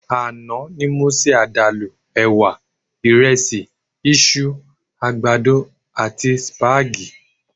Àná ni mo se àdàlù ẹ̀wà, ìrẹsì, iṣu, àgbàdo àti sípágìì